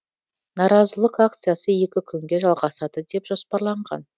наразылық акциясы екі күнге жалғасады деп жоспарланған